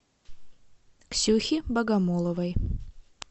ксюхе богомоловой